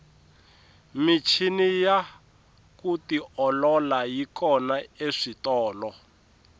michini ya ku tiolola yi kona eswitolo